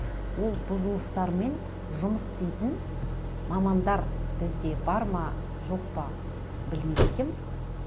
ол бұзылыстармен жұмыс істейтін мамандар бізде бар ма жоқ па білмейді екенмін